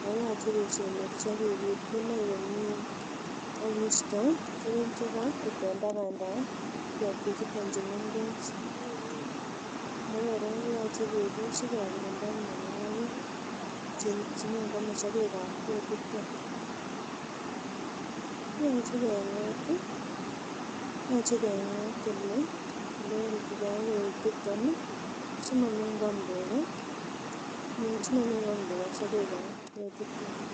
ako yoche kesemberchi kikutyi inei komie ak kisto tuguk chekorut en tabandap ketik chuton chu mengech ako kora yoche kebit sikokirinda mionwogik chenyon koame sogek ab ketiton. Yoche keng'ot ih yoche keng'ot elekorikyigee ak ketiton ih simonyon koam tuga sogek ab ketiton.